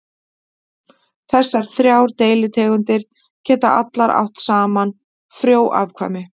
Þessar þrjár deilitegundir geta allar átt saman frjó afkvæmi.